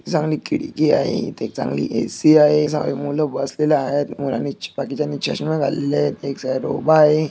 चांगली खिड़की आहे इथे एक चांगली ऐसी आहे हे सारे मूल बसलेले आहेत अणि मुलांनी बाकीच्यांनी चश्मे घातले आहे एक ला उभा आहे.